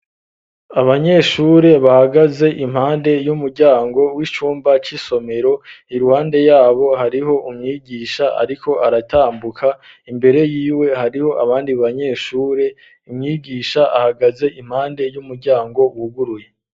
Abanyeshuri bahagaze impande y'umuryango w'icumba c'isomero iruhande yabo hariho umwigisha ariko aratambuka imbere yiwe hariho abandi banyeshuri umwigisha ahagaze impande y'umuryango wuguruye